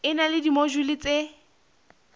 e na le dimojule tse